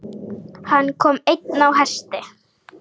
Hann kom einn á hesti.